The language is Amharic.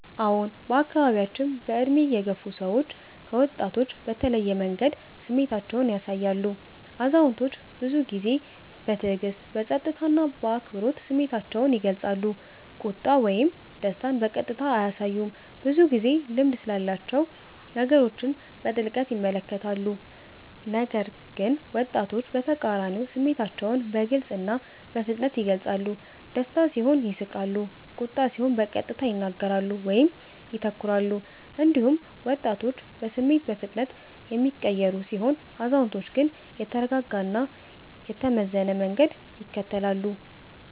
አዎን፣ በአካባቢያችን በዕድሜ የገፉ ሰዎች ከወጣቶች በተለየ መንገድ ስሜታቸውን ያሳያሉ። አዛውንቶች ብዙ ጊዜ በትዕግስት፣ በጸጥታ እና በአክብሮት ስሜታቸውን ይገልጻሉ፤ ቁጣ ወይም ደስታን በቀጥታ አያሳዩም፣ ብዙ ጊዜ ልምድ ስላላቸው ነገሮችን በጥልቅ ይመለከታሉ። ነገር ግን ወጣቶች በተቃራኒው ስሜታቸውን በግልጽ እና በፍጥነት ይገልጻሉ፤ ደስታ ሲሆን ይስቃሉ፣ ቁጣ ሲሆን በቀጥታ ይናገራሉ ወይም ይተኩራሉ። እንዲሁም ወጣቶች በስሜት በፍጥነት የሚቀየሩ ሲሆኑ፣ አዛውንቶች ግን የተረጋጋ እና የተመዘነ መንገድ ይከተላሉ።